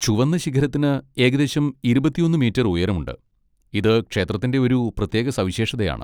ചുവന്ന ശിഖരത്തിന് ഏകദേശം ഇരുപത്തിഒന്ന് മീറ്റർ ഉയരമുണ്ട്, ഇത് ക്ഷേത്രത്തിന്റെ ഒരു പ്രത്യേക സവിശേഷതയാണ്.